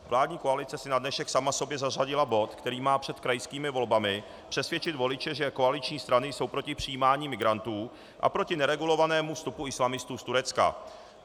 Vládní koalice si na dnešek sama sobě zařadila bod, který má před krajskými volbami přesvědčit voliče, že koaliční strany jsou proti přijímání migrantů a proti neregulovanému vstupu islamistů z Turecka.